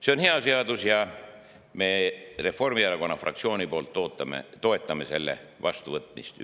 See on hea seadus ja me Reformierakonna fraktsiooniga toetame selle ühist vastuvõtmist.